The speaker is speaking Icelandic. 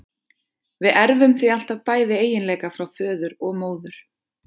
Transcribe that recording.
Við erfum því alltaf bæði eiginleika frá föður og móður.